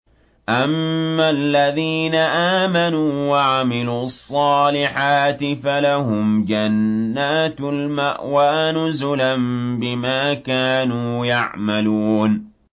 أَمَّا الَّذِينَ آمَنُوا وَعَمِلُوا الصَّالِحَاتِ فَلَهُمْ جَنَّاتُ الْمَأْوَىٰ نُزُلًا بِمَا كَانُوا يَعْمَلُونَ